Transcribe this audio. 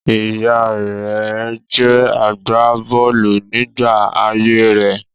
Ìyá rẹ̀ jẹ́ agbà bọ́ọ̀lù nígbà ayé rẹ̀.